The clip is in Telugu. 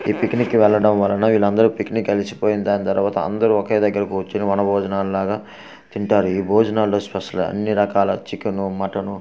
ఈ పిక్నిక్ కి వెళ్లడం వలన వీళ్ళందరూ పిక్నిక్ అలసిపోయి దాని తర్వాత ఒకేదగ్గర కూర్చుని వన భోజనాలాగ తింటారు ఈ భోజనంలో స్పెషల్ అన్ని రకాల చికెను మటను --